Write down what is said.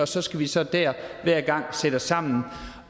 så skal vi så hver gang sætte os sammen